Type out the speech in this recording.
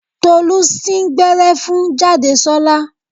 Tolú sín gbẹ́rẹ́ fún Jádesọ́lá